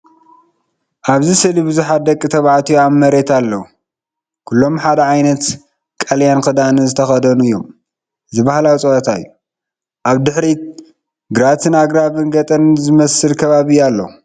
ኣብዚ ስእሊ ብዙሓት ደቂ ተባዕትዮ ኣብ መሬት ኣለዉ። ኩሎም ሓደ ዓይነት ቀጠልያ ክዳን ዝተኸድኑ እዮም። እዚ ባህላዊ ፀዋታ እዩ። ኣብ ድሕሪት ግራትን ኣግራብን ገጠር ዝመስል ከባቢን ኣሎ።